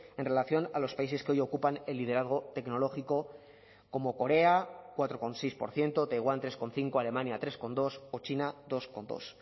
en relación a los países que hoy ocupan el liderazgo tecnológico como corea cuatro coma seis por ciento taiwán tres coma cinco alemania tres coma dos o china dos coma dos